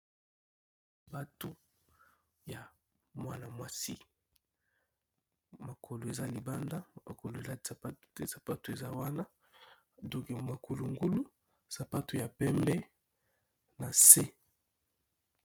Bato ya mwana-mwasi mokolo eza libanda akolela sapato te sapato eza wana donke mokulungulu sapato ya pembe na se.